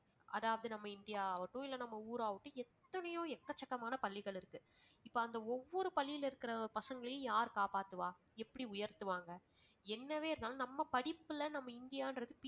அதாவது நம்ம இந்தியாவாகட்டும் நம்ம ஊர் ஆகட்டும் எத்தனையோ எக்கச்சக்கமான பள்ளிகள் இருக்கு. இப்ப அந்த ஒவ்வொரு பள்ளியில இருக்கிற பசங்களையும் யார் காப்பாத்துவா எப்படி உயர்த்துவாங்க? என்னவே இருந்தாலும் நம்ம படிப்புல நம்ம இந்தியான்றது